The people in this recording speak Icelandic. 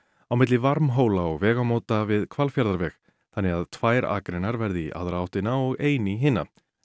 á milli Varmhóla og vegamóta við þannig að tvær akreinar verði í aðra áttina og ein í hina